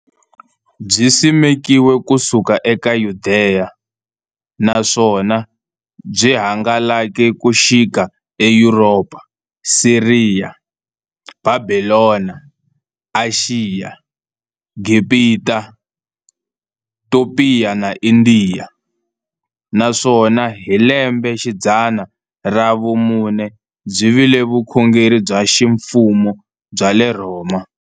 Byisimekiwe ku suka eYudeya, naswona byi hangalake ku xika eYuropa, Siriya, Bhabhilona, Ashiya, Gibhita, Topiya na Indiya, naswona hi lembexidzana ra vumune byi vile vukhongeri bya ximfumo bya le Rhoma.